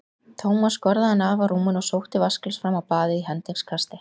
Thomas skorðaði hann af á rúminu og sótti vatnsglas fram á baðið í hendingskasti.